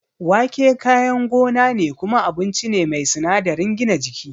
Wake kayan gona ne kuma abinci ne mai sinadarin gina jiki.